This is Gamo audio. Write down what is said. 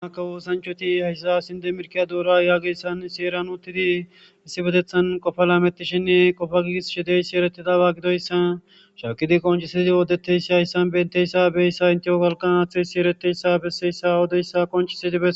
Kawo oosanchati qofa laametishe dizayssikka qonccekko.